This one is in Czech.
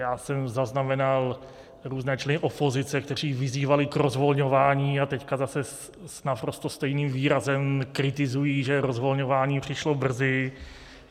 Já jsem zaznamenal různé členy opozice, kteří vyzývali k rozvolňování, a teď zase s naprosto stejným výrazem kritizují, že rozvolňování přišlo brzy.